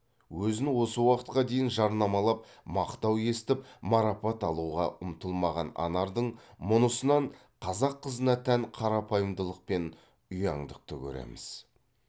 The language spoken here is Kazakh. өзін осы уақытқа дейін жарнамалап мақтау естіп марапат алуға ұмтылмаған анардың мұнысынан қазақ қызына тән қарапайымдылық пен ұяңдықты көреміз